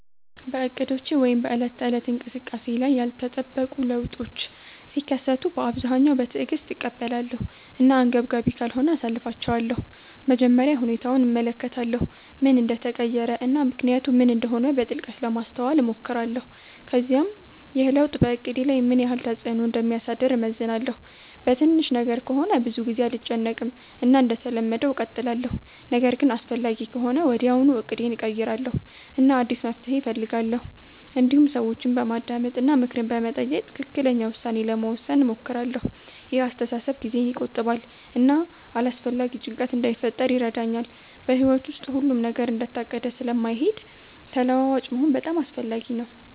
በእቅዶቼ ወይም በዕለት ተዕለት እንቅስቃሴዬ ላይ ያልተጠበቁ ለውጦች ሲከሰቱ በአብዛኛው በትዕግስት እቀበላለሁ እና አንገብጋቢ ካልሆነ አሳልፊቻለሁ መጀመሪያ ሁኔታውን እመለከታለሁ ምን እንደተቀየረ እና ምክንያቱ ምን እንደሆነ በጥልቀት ለማስተዋል እሞክራለሁ ከዚያም ይህ ለውጥ በእቅዴ ላይ ምን ያህል ተፅዕኖ እንደሚያሳድር እመዝናለሁ በትንሽ ነገር ከሆነ ብዙ ጊዜ አልጨነቅም እና እንደተለመደው እቀጥላለሁ ነገር ግን አስፈላጊ ከሆነ ወዲያውኑ እቅዴን እቀይራለሁ እና አዲስ መፍትሔ እፈልጋለሁ እንዲሁም ሰዎችን በማዳመጥ እና ምክር በመጠየቅ ትክክለኛ ውሳኔ ለመውሰድ እሞክራለሁ ይህ አስተሳሰብ ጊዜን ይቆጥባል እና አላስፈላጊ ጭንቀት እንዳይፈጥር ይረዳኛል በሕይወት ውስጥ ሁሉም ነገር እንደታቀደ ስለማይሄድ ተለዋዋጭ መሆን በጣም አስፈላጊ ነው